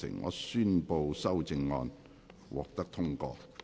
我宣布修正案獲得通過。